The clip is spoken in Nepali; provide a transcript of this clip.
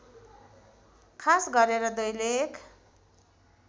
खास गरेर दैलेख